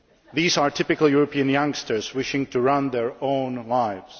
These are typical European youngsters wishing to run their own lives.